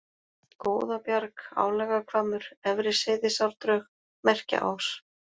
Góðabjarg, Álagahvammur, Efri-Seyðisárdrög, Merkjaás